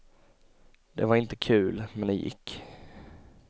Det var inte kul, men det gick.